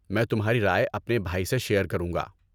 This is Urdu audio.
میں تمہاری رائے اپنے بھائی سے شیر کروں گا۔